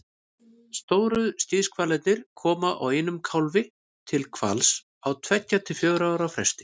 stóru skíðishvalirnir koma einum kálfi til hvals á tveggja til fjögurra ára fresti